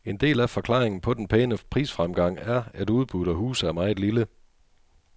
En del af forklaringen på den pæne prisfremgang er, at udbuddet af huse er meget lille.